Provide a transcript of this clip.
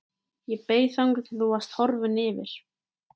Ég beið þangað til þú varst horfinn yfir